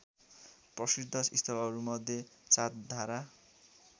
प्रसिद्ध स्थलहरूमध्ये सातधारा